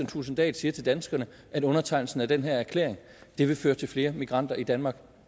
thulesen dahl siger til danskerne at undertegnelsen af den her erklæring vil føre til flere migranter i danmark